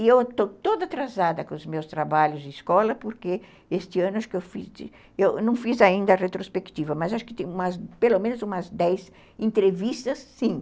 E eu estou toda atrasada com os meus trabalhos de escola, porque este ano acho que eu fiz... Eu não fiz ainda a retrospectiva, mas acho que tem pelo menos umas dez entrevistas, sim.